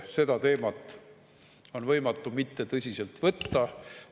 Seda teemat on võimatu mitte tõsiselt võtta.